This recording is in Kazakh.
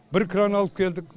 бір кран алып келдік